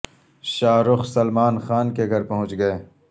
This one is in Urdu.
شاہ رخ سلمان خان کے گھر پہنچ گئے